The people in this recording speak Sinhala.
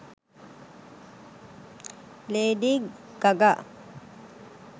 lady gaga